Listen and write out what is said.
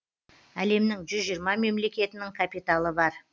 әлемнің жүз жиырма мемлекетінің капиталы бар